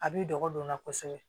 A b'i dɔgɔ don o la kosɛbɛ